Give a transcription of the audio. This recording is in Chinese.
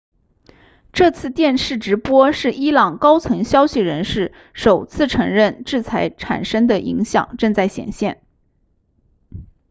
这次电视直播是伊朗高层消息人士首次承认制裁产生的影响正在显现